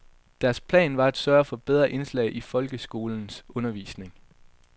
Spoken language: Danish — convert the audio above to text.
Deres plan var at sørge for bedre indslag i folkeskolens undervisning.